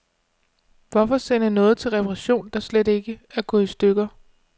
Hvorfor sende noget til reparation, der slet ikke er gået i stykker.